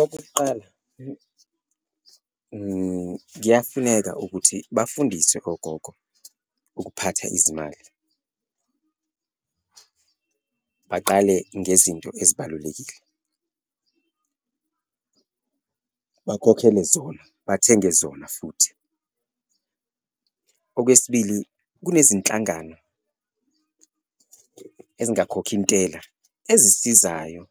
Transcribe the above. Okokuqala, kuyafuneka ukuthi bafundiswe ogogo ukuphatha izimali, baqale ngezinto ezibalulekile bakhokhele zona, bathenge zona futhi. Okwesibili, kunezinhlangano ezingakhokhintela ezisizayo